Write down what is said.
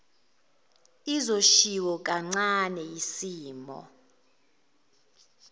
izoshiwo kancane yisimo